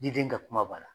Diden ka kuma b'a la